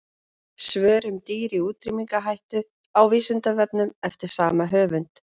Svör um dýr í útrýmingarhættu á Vísindavefnum eftir sama höfund.